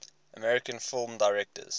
american film directors